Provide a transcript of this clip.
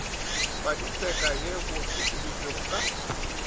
paditseka ye bo utolotšwego ka